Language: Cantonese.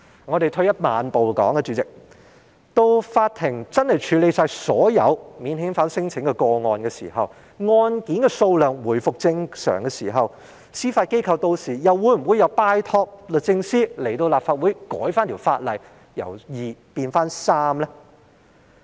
主席，退一萬步來說，到了法庭處理完所有免遣返聲請個案，案件數量回復正常的時候，司法機構屆時又會否拜託律政司前來立法會修改法例，把法官數目由2名變回3名呢？